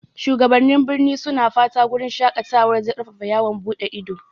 Shugabannin birni suna fatan wurin shaƙatawar zai ƙarfafa yawon buɗe ido.